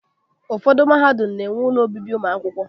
Ụfọdụ mahadum ga-enwe ụlọ obibi ụmụakwụkwọ